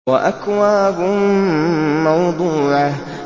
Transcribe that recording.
وَأَكْوَابٌ مَّوْضُوعَةٌ